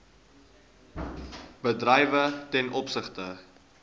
bedrywe ten opsigte